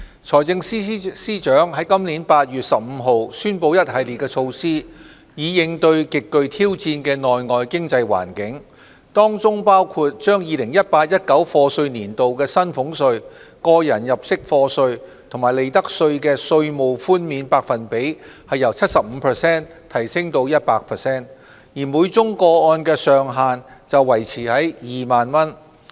財政司司長在今年8月15日宣布一系列措施，以應對極具挑戰的內外經濟環境，當中包括將 2018-2019 課稅年度薪俸稅、個人入息課稅及利得稅的稅務寬免百分比由 75% 提升至 100%， 而每宗個案的上限則維持在2萬元。